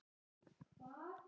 Ég var í sjöunda himni.